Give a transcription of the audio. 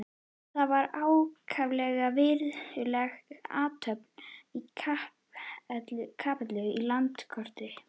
Það var ákaflega virðuleg athöfn í kapellunni í Landakoti.